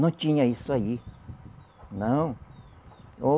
Não tinha isso aí, não. Ó